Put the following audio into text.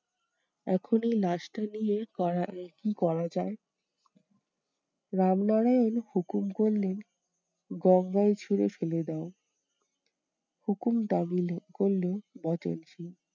এখন এই লাশটা নিয়ে করা কি করা যায়? রামনারায়ণ হুকুম করলেন, গঙ্গায় ছুড়ে ফেলে দাও। হুকুম তামিল করলো বচনসুর